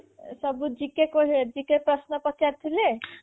ସବୁ GK GK ପ୍ରଶ୍ନ ପଚାରି ଥିଲେ